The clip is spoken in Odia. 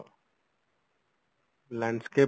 landscape